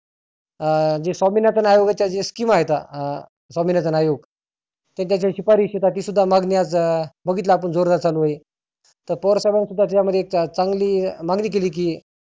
अं जे स्वमिनाथन आयोगाच्या जे scheam आहेता अं स्वामिनाथन आयोग त्याच्या ज्या सिफारीश आहे ते सुध्दा मागनी आज बघितलं आपण जोरदार चालू आहे. तर पवार साहेबानी सुद्धा त्यामध्ये चांगली मागनी केली की